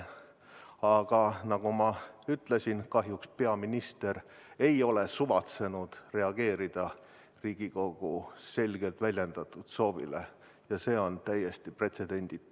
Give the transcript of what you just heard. Aga nagu ma ütlesin, kahjuks peaminister ei ole suvatsenud reageerida Riigikogu selgelt väljendatud soovile ja see on täiesti pretsedenditu.